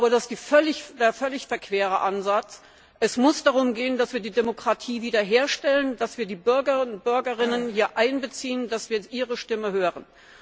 Das ist ein völlig verquerer Ansatz! Es muss darum gehen, dass wir die Demokratie wiederherstellen, dass wir die Bürgerinnen und Bürger hier einbeziehen und dass wir ihre Stimme hören.